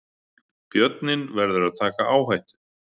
Björninn verður að taka áhættu